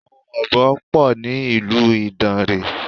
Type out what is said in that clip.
Àwọn Ọ̀bọ pọ̀ ní ìlú Ìdàǹrè.